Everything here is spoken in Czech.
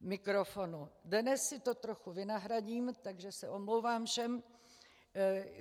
Dnes si to trochu vynahradím, takže se omlouvám všem.